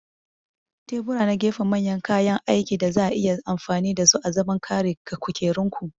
Tebura na gefe manyan kayan aikin da za a iya amfani da su azaman ƙari ga kukerunku.